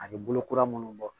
A bɛ bolo kura minnu bɔ